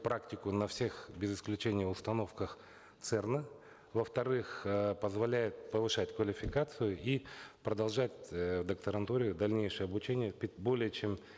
практику на всех без исключения установках церн а во вторых э позволяет повышать квалификацию и продолжать э в докторантуре дальнейшее обучение более чем